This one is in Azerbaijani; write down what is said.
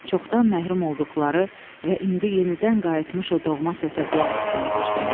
Çoxdan məhrum olduqları və indi yenidən qayıtmış o doğma səsə qulaq asmağa başlamışdılar.